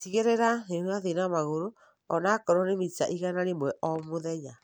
Tigĩrĩra nĩũrathiĩ na magũrũ ona akorwo nĩ mita igana rĩmwe o mũthenya.